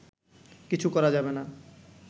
কিছু করা যাবে না